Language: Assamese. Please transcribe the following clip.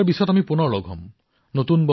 ২০২০ বৰ্ষত আমি পুনৰ মিলিত হম